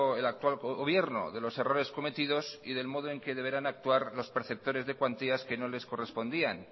el actual gobierno de los errores cometidos y del modo en que deberán actuar los preceptores de cuantías que no les correspondían